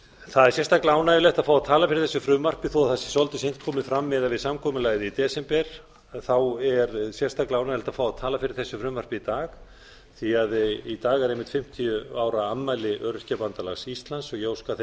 það er sérstaklega ánægjulegt að fá að tala fyrir þessu frumvarpi þó að það sé svolítið seint komið fram miðað við samkomulagið í desember þá er sérstaklega ánægjulegt að fá að tala fyrir þessu frumvarpi í dag því í dag eru einmitt fimmtíu ára afmæli öryrkjabandalags íslands og ég óska þeim